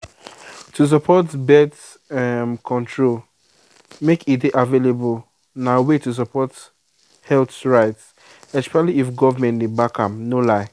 to support birth um control make e dey available na way to support health rights especially if government dey back am no lie.